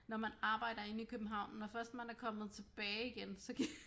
Når man arbejder inde i København når først man er kommet tilbage igen så